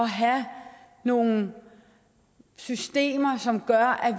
have nogle systemer som gør at